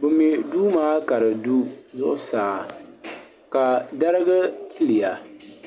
bɛ mɛ duu maa ka di du zuɣusaa ka dariga tiliga.